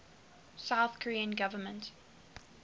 south korean government